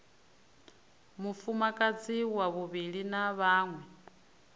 mufumakadzi wa vhuvhili na vhaṅwe